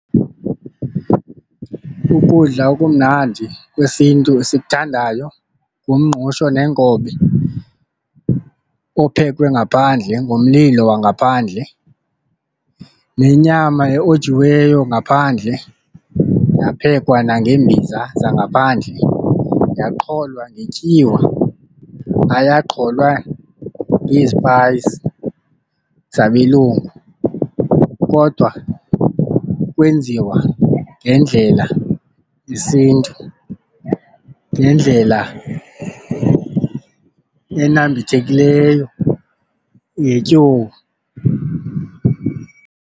Ukudla okumnandi kwesiNtu esikuthandayo ngumngqusho neenkobe ophekwe ngaphandle ngomlilo wangaphandle, nenyama eyojiweyo ngaphandle yaphekwa nangembiza zangaphandle yaqholwa ngetyiwa ayaqholwa ngezipayisi zabelungu kodwa kwenziwa ngendlela yesiNtu ngendlela enambithekileyo ngetyuwa.